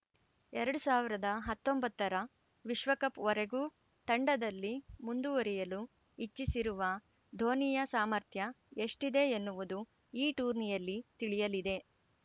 ಎರಡು ಸಾವಿರದ ಹತ್ತೊಂಬತ್ತರ ವಿಶ್ವಕಪ್‌ ವರೆಗೂ ತಂಡದಲ್ಲಿ ಮುಂದುವರಿಯಲು ಇಚ್ಛಿಸಿರುವ ಧೋನಿಯ ಸಾಮರ್ಥ್ಯ ಎಷ್ಟಿದೆ ಎನ್ನುವುದು ಈ ಟೂರ್ನಿಯಲ್ಲಿ ತಿಳಿಯಲಿದೆ